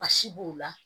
Basi b'o la